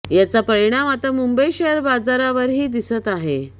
याचा परिणाम आता मुंबई शेअर बाजारावरही दिसत आहे